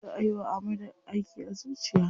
Za ayi wa Ahmadu aiki a zuciya.